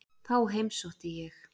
Þá heimsótti ég